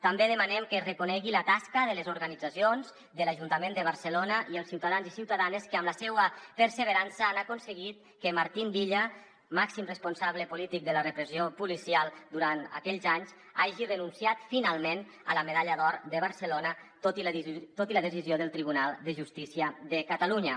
també demanem que es reconegui la tasca de les organitzacions de l’ajuntament de barcelona i els ciutadans i ciutadanes que amb la seva perseverança han aconseguit que martín villa màxim responsable polític de la repressió policial durant aquells anys hagi renunciat finalment a la medalla d’or de barcelona tot i la decisió del tribunal de justícia de catalunya